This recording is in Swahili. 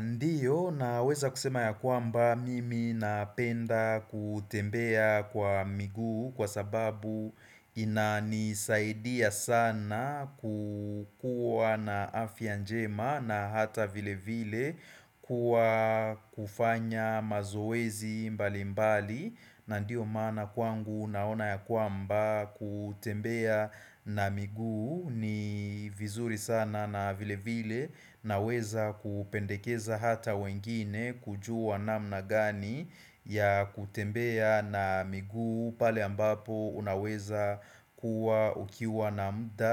Ndio naweza kusema ya kwamba mimi napenda kutembea kwa miguu kwa sababu inanisaidia sana kukuwa na afya njema na hata vile vile kuwa kufanya mazowezi mbali mbali. Na ndiyo mana kwangu naona ya kwamba kutembea na miguu ni vizuri sana na vile vile naweza kupendekeza hata wengine kujua namna gani ya kutembea na miguu pale ambapo unaweza kuwa ukiwa na muda